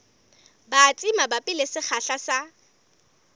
batsi mabapi le sekgahla sa